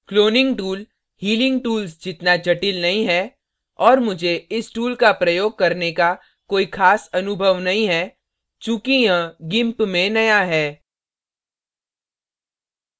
cloning tool healing tools जितना जटिल नहीं है और मुझे इस tool का प्रयोग करने का कोई ख़ास अनुभव नहीं है चूँकि यह gimp में नया है